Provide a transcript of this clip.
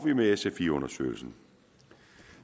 vi med sfi undersøgelsen